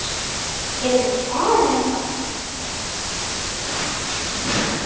Hefurðu farið þangað?